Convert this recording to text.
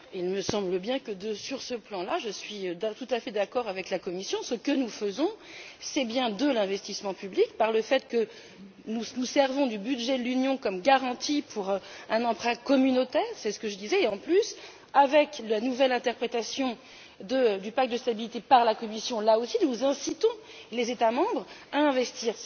Madame la Présidente, il me semble bien que, sur ce plan là, je suis tout à fait d'accord avec la Commission. Ce que nous faisons, c'est bien de l'investissement public par le fait que nous nous servons du budget de l'Union comme garantie pour un emprunt communautaire et, comme je le disais, en plus, avec la nouvelle interprétation du pacte de stabilité par la Commission, là aussi, nous incitons les États membres à investir.